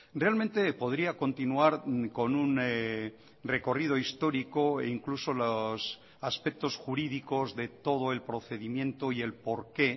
realmente podría continuar con un recorrido histórico e incluso los aspectos jurídicos de todo el procedimiento y el porqué